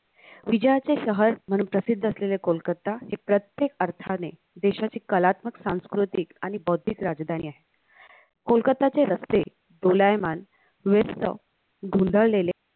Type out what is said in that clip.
विजयाचे शार म्हणून प्रसिद्ध असेलेले कोलकाता हे प्रत्येक अर्थाने देशाचे कलात्मक सांस्कृतिक आणि बौद्धिक राजधानी आहे कोलकाताचे रस्ते दोलायमान व्यस्त ढुंढाळलेले